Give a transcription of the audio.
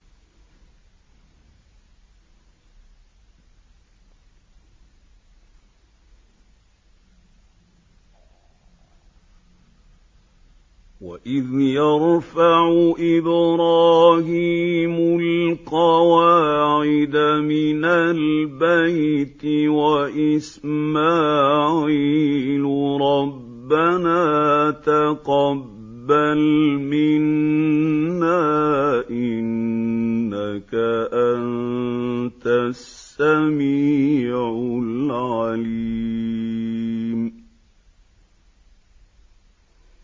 وَإِذْ يَرْفَعُ إِبْرَاهِيمُ الْقَوَاعِدَ مِنَ الْبَيْتِ وَإِسْمَاعِيلُ رَبَّنَا تَقَبَّلْ مِنَّا ۖ إِنَّكَ أَنتَ السَّمِيعُ الْعَلِيمُ